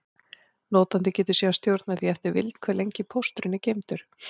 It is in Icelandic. Notandi getur síðan stjórnað því eftir vild, hve lengi pósturinn er geymdur.